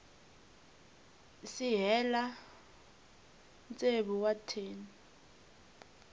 si hela tsevu wa tin